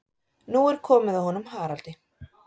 Nú er komið að honum Haraldi.